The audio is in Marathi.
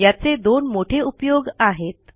याचे दोन मोठे उपयोग आहेत